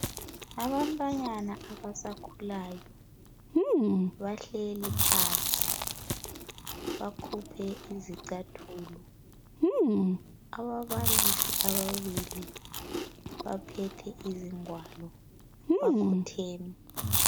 Abantwanyana abasakhulayo bahleli phansi bakhuphe izicathulo. Ababalisi ababili baphethe izingwalo bakhotheme.